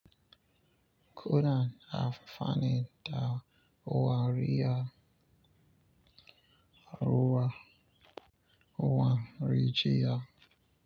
Kudan har fannin da wariyar Aruwa wani rijiya.